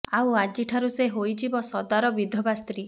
ଆଉ ଆଜି ଠାରୁ ସେ ହୋଇଯିବ ସଦାର ବିଧବା ସ୍ତ୍ରୀ